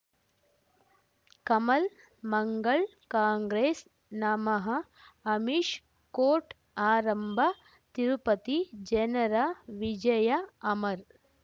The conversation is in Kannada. ಕಮಲ್ ಮಂಗಳ್ ಕಾಂಗ್ರೆಸ್ ನಮಃ ಅಮಿಷ್ ಕೋರ್ಟ್ ಆರಂಭ ತಿರುಪತಿ ಜನರ ವಿಜಯ ಅಮರ್